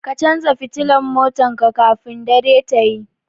Ka canza fitila motan ka kafin dare tayi